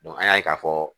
an y'a ye ka fɔ